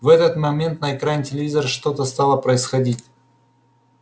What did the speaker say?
в этот момент на экране телевизора что-то стало происходить